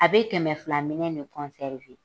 A be kɛmɛ fila minɛn de